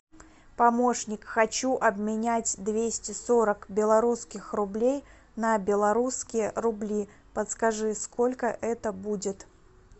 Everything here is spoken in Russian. помощник хочу обменять двести сорок белорусских рублей на белорусские рубли подскажи сколько это будет